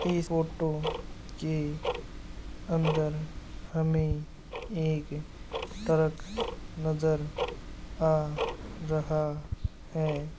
इस फोटो के अंदर हमें एक तरफ़ नजर आ रहा है।